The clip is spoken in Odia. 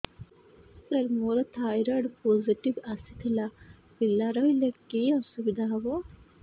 ସାର ମୋର ଥାଇରଏଡ଼ ପୋଜିଟିଭ ଆସିଥିଲା ପିଲା ରହିଲେ କି ଅସୁବିଧା ହେବ